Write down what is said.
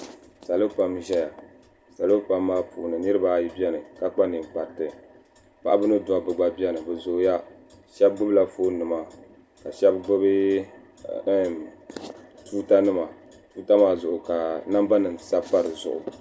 salo pam n ʒɛya salo pam maa puuni niraba ayi ʒɛya ka kpa ninkpariti paɣaba ni dabba gba biɛni bi zooya shab gbubila foon nima ka shab gbubi tuuta nima tuuta maa zuɣy ka namba nim sabi pa dizuɣu